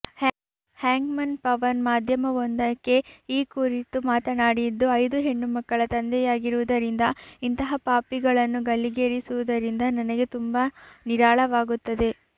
hangman Pawan ಮಾಧ್ಯಮವೊಂದಕ್ಕೆ ಈ ಕುರಿತು ಮಾತನಾಡಿದ್ದು ಐದು ಹೆಣ್ಣುಮಕ್ಕಳ ತಂದೆಯಾಗಿರುವುದರಿಂದ ಇಂತಹ ಪಾಪಿಗಳನ್ನು ಗಲ್ಲಿಗೇರಿಸುವುದರಿಂದ ನನಗೆ ತುಂಬಾ ನಿರಾಳವಾಗುತ್ತದೆ